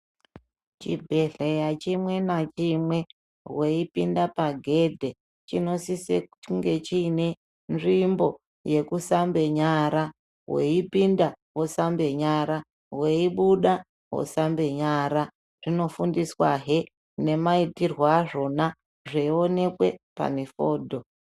Chibhedhlera chimwe nechimwe weipinde paghedhi chinosise kunge chiine nzvimbo yekusambe nyara. Weipinde wosambe nyara weibuda wosambe nyara .Zvinofundiswa he nemaitirwe azvona zveyionekwe pane fodho.